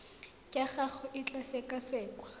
ya gago e tla sekasekwa